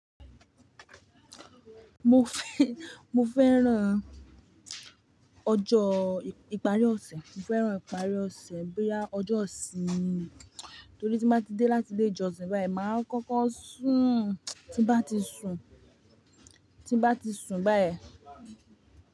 Mo fẹ́, mo fẹ́ràn ọjọ́ ìparí ọ̀sẹ̀, mo fẹ́ràn ìparí ọ̀sẹ̀ bóyá ọjọ́ ìsinmi, torí tí mo bá ti dé láti ilé ìjọsìn báyìí máa ń kọ́kọ́ sùn, tí bá ti sùn, tí bá ti sùn báyìí.